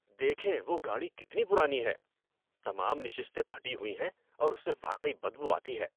دیکھیں وہ گاڑی کتنی پرانی ہے۔ تمام نشستیں پھٹی ہوئی ہیں اور اس سے واقعی بدبو آتی ہے۔